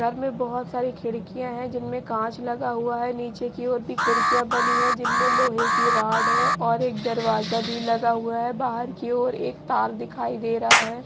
घर में बहुत सारी खिड़कियां हैं जिनमें कांच लगा हुआ है नीचे की ओर भी खिड़कियां बनी हुई हैं जिन में लोहे की रॉड है और एक दरवाजा भी लगा हुआ है बाहर की और एक तार दिखाई दे रहा है।